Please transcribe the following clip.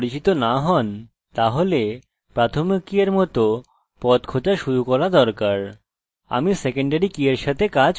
আমি সেকেন্ডারি কি এর সাথে কাজ করব না কারণ এটি mysql ডাটাবেসের সঙ্গে করার জন্য অনেক সহজ উপায়